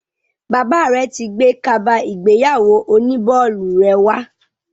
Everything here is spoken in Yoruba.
Bàbá rẹ ti gbé kaba ìgbéyàwó oní bọ́ọ̀lù rẹ wá.